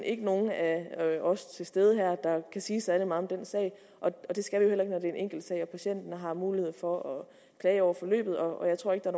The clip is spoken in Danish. ikke nogen af af os til stede her der kan sige særlig meget om den sag og det skal vi heller er en enkelt sag og patienten har mulighed for at klage over forløbet og jeg tror ikke at